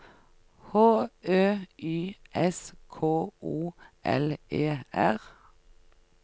H Ø Y S K O L E R